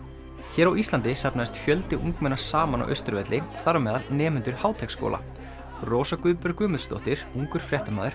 hér á Íslandi safnaðist fjöldi ungmenna saman á Austurvelli þar á meðal nemendur Háteigsskóla Rósa Guðbjörg Guðmundsdóttir ungur fréttamaður